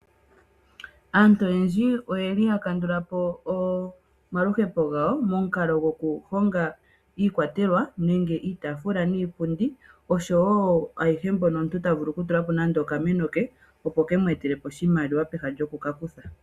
Aantu oyendji oye li ya kandula po omaluhepo gawo, momukalo gokuhonga iikwatelwa nenge iitafula niipundi oshowo ayihe mbyono omuntu ta vulu oku tula po nande okameno ke, opo ke mu etele po oshimaliwa peha lyoku ka kutha.